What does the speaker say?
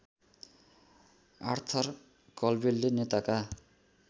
Arthur कलवेलले नेताका